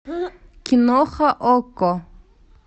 киноха окко